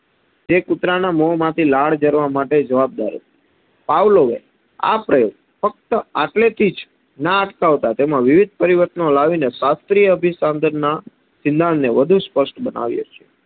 જે કુતરાના મોમાં લાડ જરવા જવાબદાર હતી. પાવલોએ આ પ્રયોગ ફક્ત આટલેથી ના અટકાવતાં તેમાં વિવિધ પરિવર્તનો લાવીને શાસ્ત્રીય અભિસંધાન ના સિધ્ધાંતને વધુ સ્પસ્ટ બનાવ્યો છે.